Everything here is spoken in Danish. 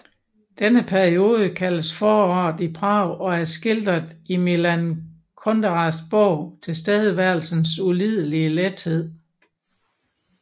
Denne periode kaldes Foråret i Prag og er skildret i Milan Kunderas bog Tilværelsens ulidelige lethed